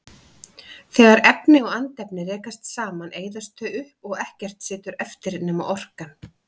Þegar efni og andefni rekast saman eyðast þau upp og ekkert situr eftir nema orkan.